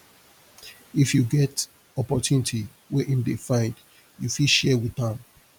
if yu get opportunity wey em dey find yu fit share wit am